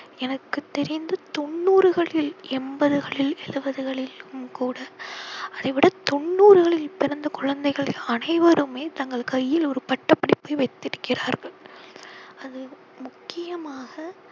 எனக்குத் தெரிந்து தொண்ணூறுகளில் எம்பதுகளில் எழுவதுகளிலும் கூட அதை விட தொண்ணூறுகளில் பிறந்த குழந்தைகள் அனைவருமே தங்கள் கையில் ஒரு பட்டபடிப்பை வைத்திருக்கிறார்கள். அது முக்கியமாக